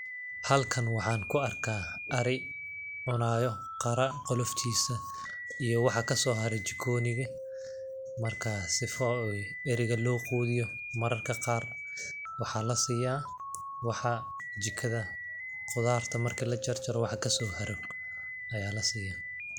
Halkan waxaan ku arkaa ari cunaayo qara qoloftiisa iyo waxa kasoo hare jikooniga ,markaa sifa ooy ariga loo quudiyo, mararka qaar waxaa lasiyaa waxa jikada, qudaarta marki la jarjaro waxa kasoo haro, ayaa la siyaa.